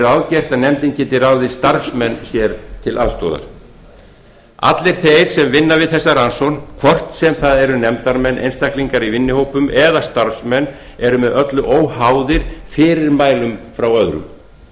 ráðgert að nefndin geti ráðið starfsmenn sér til aðstoðar allir þeir sem vinna við þessa rannsókn hvort sem það eru nefndarmenn einstaklingar í vinnuhópum eða starfsmenn eru með öllu óháðir fyrirmælum frá öðrum þó